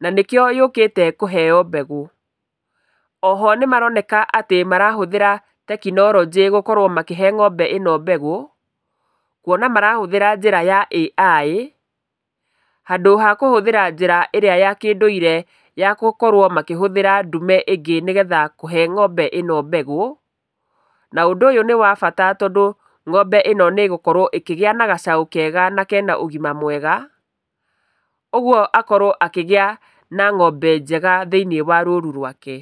na nĩkĩo yũkĩte kũheo mbegũ. Oho nĩmaroneka marahũthĩra tekinoronjĩ gũkorwo makĩhe ng'ombe ĩno mbegũ kuona marahũthĩra njĩra ya AI handũ ha gũkorwo akĩhũthĩra njĩra ĩrĩa ya kĩũndũire, ya gũkorwo makĩhũthĩra ndume ingĩ nĩguo kũhe ng'ombe ĩno mbegũ. Na ũndũ ũyũ nĩwabata tondũ ng'ombe ĩno nĩĩgũkorwo ĩkĩgĩa na gacaũ kega na kena ũgima mwega. Ũguo akorwo akĩgĩa na ng'ombe njega thĩinĩ wa rũru rwake.